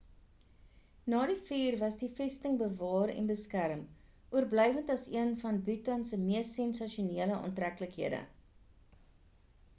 na die vuur was die vesting bewaar en beskerm oorblywend as een van bhutan se mees sensasionele aantreklikhede